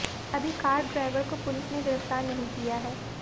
अभी car driver को police ने गिरफ्तार नहीं किया है